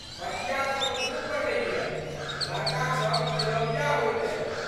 बचिया सब खूब पढ़ैये। लड़कासब खेलौड़िया होइत अछि।